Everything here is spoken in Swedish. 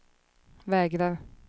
vägrar